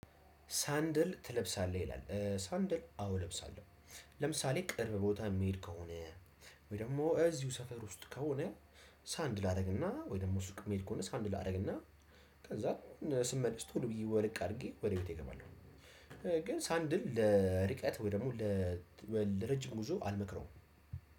ሳንድል ትለብሳለህ ይላል? ሳንድል አዎ እለብሳለሁ። ለምሳሌ ቅርብ ቦታ የሚሄድ ከሆነ ወይ ደግሞ እዚሁ ሰፈር ውስጥ ከሆነ። ሳንድል ላደርግና ወይ ደግሞ ሱቅ እምሄድ ከሆነ ሳንድል አደርግና። ከዛ ስመልስ ቶሎ ብዬ ወልቅ አድርጌ ወደ ቤቴ እገባለሁ። ግን ሳንድል ለርቀት ወይ ደግሞ ለረጅም ጉዞ አልመክረውም።